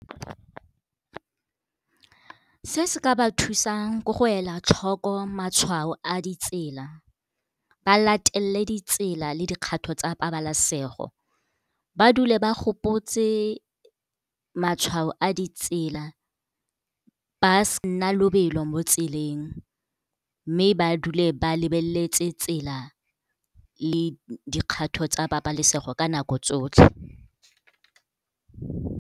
Se se ka ba thusang ko go ela tlhoko matshwao a ditsela, ba latelele ditsela le dikgato tsa pabalesego, ba dule ba gopotse matshwao a ditsela. Ba nna lobelo mo tseleng mme ba dule ba lebeletse tsela le dikgato tsa pabalesego ka nako tsotlhe.